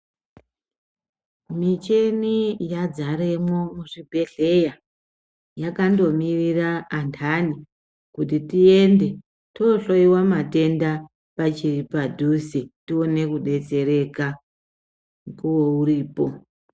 Micheni ya dzaremwo mu zvibhedhleya yakando mirira andani kuti tiende to hloyiwa matenda pachiri padhuze tione ku detsereka mukuwo uchiripo.